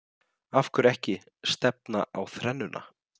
Af hverju ekki stefna á þrennuna?